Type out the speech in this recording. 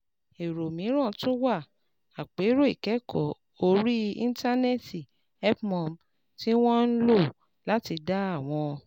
Èrò mìíràn tún wá: Àpérò ìkẹ́kọ̀ọ́ orí Íńtánẹ́ẹ̀tì HelpMum, tí wọ́n ń lò láti dá àwọn